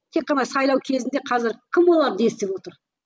тек қана сайлау кезінде қазір кім оларды естіп отыр